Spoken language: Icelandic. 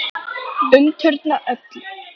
Umturna öllu.